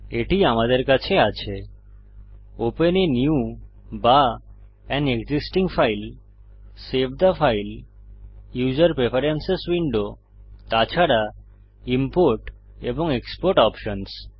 এটি আমাদের কাছে আছে ওপেন a নিউ বা an existing file save the file user preference window তাছাড়া ইমপোর্ট এবং এক্সপোর্ট অপশন্স